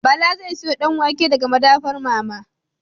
Bala zai siyo Danwake daga madafar mama